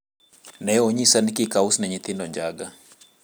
ne onyisa ni kik aus ni nyithindo njaga